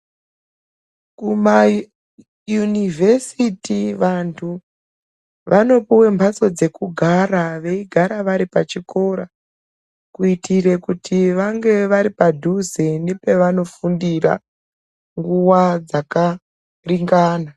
Kumayunivhesiti vantu vanopuwa mbatso dzekugara vaigara varipachikora kuitire kuti vavaripadhuze nepavano fundira nguva dzakaringana.